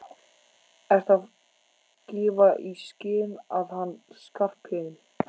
Ertu að gefa í skyn að hann Skarphéðinn.